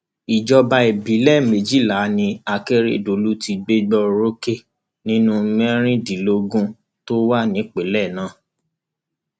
ìjọba ìbílẹ méjìlá ni akérèdọlù ti gbégbá orókè nínú mẹrìndínlógún tó wà nípìnlẹ náà